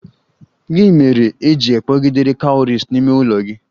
Gị mere e ji kpọgidere cowries n'ime ụlọ gị?